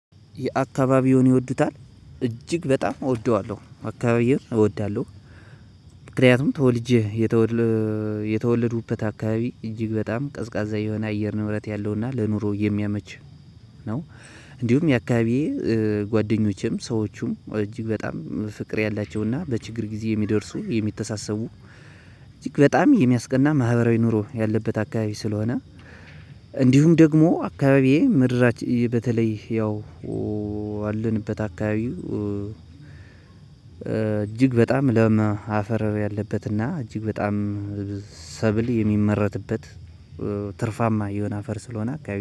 አካባቢዎን ይወዱታል? እጅግ በጣም እወደዋለሁ አካባቢዪን እወዳለሁ። ምክንያቱም ተወልጄ የተወለዱበት አካባቢ እጅግ በጣም ቀዝቃዛ የሆነ አየር ንብረት ያለውና ለኑሮ የሚያመች ነው። እንዲሁም የአካባቢዬ ጓደኞቼም ሰዎቹም እጅግ በጣም ፍቅር ያላቸውና በችግር ጊዜ የሚደርሱ የሚተሳሰቡ። በጣም የሚያስቀና ማህበራዊ ኑሮ ያለበት አካባቢ ስለሆነ እንዲሁም ደግሞ አካባቢዬ ምድራችን በተለይ ያው ያለንበት አካባቢ። እጅግ በጣም ለም አፈር ያለበትና እጅግ በጣም ሰብል የሚመረትበት ትርፋማ የሆነ አፈር ስለሆነ